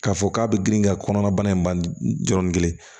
K'a fɔ k'a bɛ girin ka kɔnɔnabana in ban yɔrɔnin kelen